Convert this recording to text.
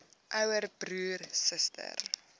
ouer broer suster